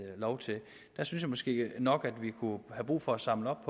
lov til det jeg synes måske nok vi kunne have brug for at samle op